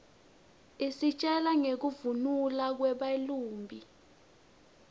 isitjela nqekufnuna kweba lumbi